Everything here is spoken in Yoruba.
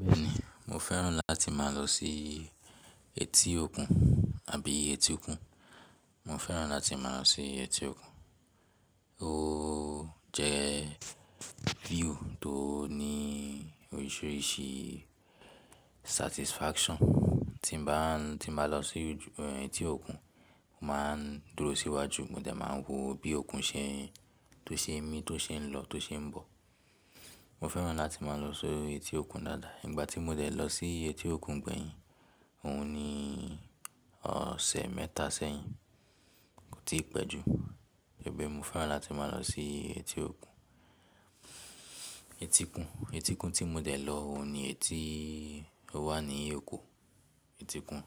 Bẹ́ẹ̀ni, mo fẹ́ràn láti máa lọ sí etí òkun àbí etíkun. Mo fẹ́ràn láti má a lọ sí etí òkun. Ó jẹ́ view tó ní oríṣiríṣi satisfaction. Tí n bá, tí n bá lọ sí etí òkun, mo má a ń dúró síwájú mo dẹ̀ máa ń wo bí òkun ṣe tó ṣe ń mí, tó ṣe ń lọ, tó ṣe ń bọ̀. Mo fẹ́ràn láti má a lọ sí etí òkun dáadáa. Ìgbà tí mo dẹ̀ lọ sí etí òkun gbẹ̀yìn, òun ni ọ̀sẹ̀ mẹ́ta sẹ́yìn, kò tí pẹ́ jù. Ẹ́mí mo fẹ́ràn láti má a lọ sí etí òkun, etíkun, etíkun tí mo dẹ̀ lọ òun ni eyi tí ó wà ní Èkó. Etíkun